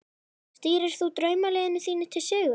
Stýrir þú draumaliðinu þínu til sigurs?